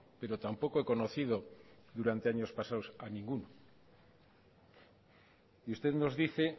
pero tampoco he conocido durante años pasados a ninguno y usted nos dice